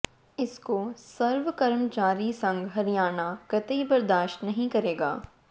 इसको सर्व कर्मचारी संघ हरियाणा कतई बर्दाश्त नहीं करेगा